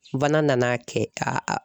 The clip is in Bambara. Fana nana kɛ ka a